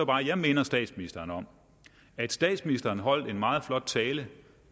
jeg minder statsministeren om at statsministeren holdt en meget flot tale